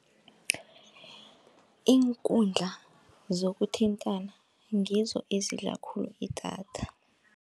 Iinkundla zokuthintana ngizo ezidla khulu idatha.